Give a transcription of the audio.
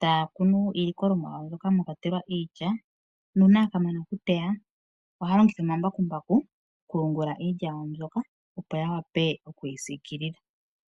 taya kunu iilikolomwa yawo mwa kwatelwa iilya nuuna ya ka mana okuteya ohaya longitha omambakumbaku okuyungula iilya yawo mbyoka, opo ya wape okuyi siikilila.